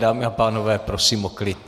Dámy a pánové, prosím o klid.